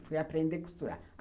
Fui aprender a costurar.